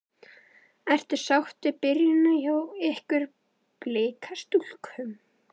Ertu sátt við byrjunina hjá ykkur Blikastúlkum?